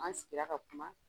An sigira ka kuma